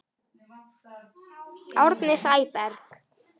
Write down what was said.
Árni Sæberg